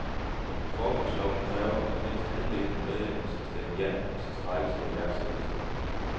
Forbundslovene kræver, at mindst halvdelen af medlemmerne skal stemme ja, hvis en strejke skal iværksættes.